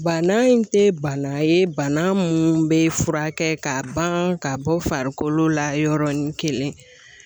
Bana in tɛ bana ye bana mun bɛ furakɛ ka ban ka bɔ farikolo la yɔrɔnin kelen